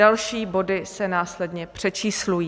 Další body se následně přečíslují.